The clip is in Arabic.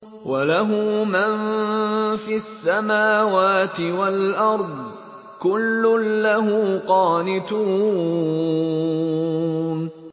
وَلَهُ مَن فِي السَّمَاوَاتِ وَالْأَرْضِ ۖ كُلٌّ لَّهُ قَانِتُونَ